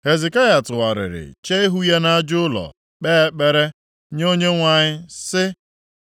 Hezekaya tụgharịrị chee ihu ya nʼaja ụlọ kpee ekpere nye Onyenwe anyị sị,